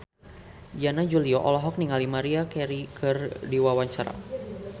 Yana Julio olohok ningali Maria Carey keur diwawancara